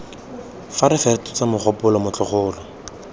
fa re fetotse mogopolo motlogolo